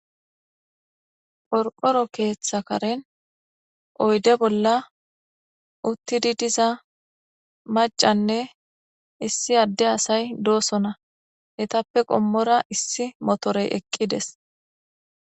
Qorqoro keeththa karen oyde bolla uttidi diza macanne issi adde asay doosona etappe qommora issi motorey eqqides.